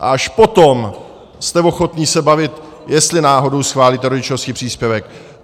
A až potom jste ochotni se bavit, jestli náhodou schválíte rodičovský příspěvek.